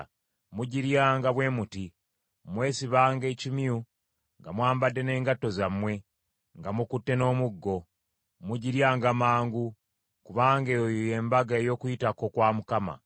Mugiryanga bwe muti: Mwesibanga ekimyu, nga mwambadde n’engatto zammwe , nga mukutte n’omuggo. Mugiryanga mangu. Kubanga eyo y’Embaga ey’Okuyitako kwa Mukama .